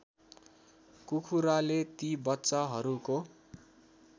कुखुराले ती बच्चाहरूको